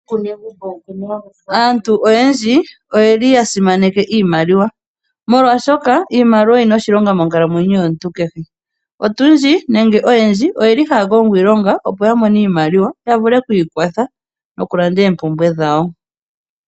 Aantu oyendji oyeli yasimaneke iimaliwa molwashoka iimaliwa oyina oshilonga monkalamwenyo yomuntu kehe. Otundji nenge oyendji oyeli haya kongo iilonga opo yamone iimaliwa yavule oku ikwatha noku landa oompumbwe dhawo.